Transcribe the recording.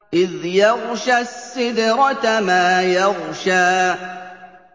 إِذْ يَغْشَى السِّدْرَةَ مَا يَغْشَىٰ